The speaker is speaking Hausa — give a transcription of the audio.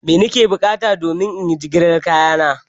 Mai na ke buƙata domin inyi jigilar kaya na?